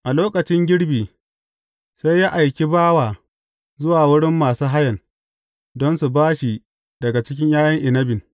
A lokacin girbi, sai ya aiki bawa zuwa wurin masu hayan, don su ba shi daga cikin ’ya’yan inabin.